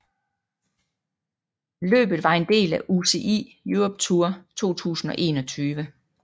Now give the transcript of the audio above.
Løbet var en del af UCI Europe Tour 2021